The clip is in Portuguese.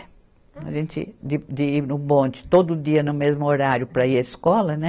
A gente de, de ir no bonde todo dia no mesmo horário para ir à escola, né?